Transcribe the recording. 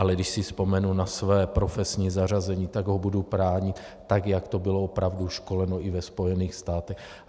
Ale když si vzpomenu na své profesní zařazení, tak ho budu bránit, tak jak to bylo opravdu školeno i ve Spojených státech.